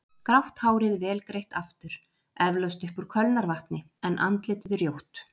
Grátt hárið vel greitt aftur, eflaust upp úr kölnarvatni, en andlitið rjótt.